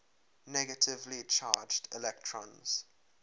negatively charged electrons